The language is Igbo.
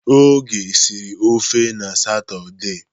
Oge siri ofe n'Satọde.